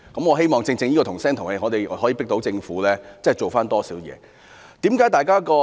我希望正正因我們"同聲同氣"，可迫使政府就此多下工夫。